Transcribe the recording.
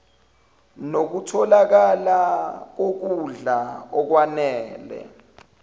nokutholakala kokudla okwanele